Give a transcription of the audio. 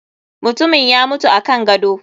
Mutumin ya mutu akan gado.